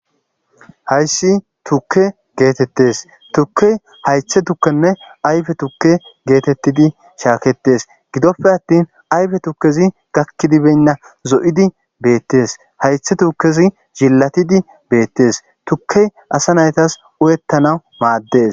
hayssi tukke geetettes tukke haythe tukkenne ayfe tukke geetettidi shaaketes gidoppe attin ayfe tukkezi gakkidibeynna zo7idi beettes haythe tukkezi jillatidi beettes tukkey asa naytas urettanau maaddes